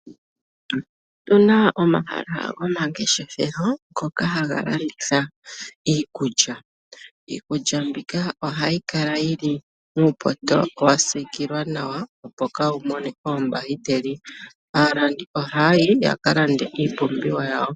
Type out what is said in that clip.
Otuna omahala gomangeshefelo ngoka haga landitha iikulya, iikulya mbika ohayi kala yili muupoto wasikilwa nawa opo kawu mone oombakiteli. Aalandi ohaya yi yakalande iipumbiwa yawo.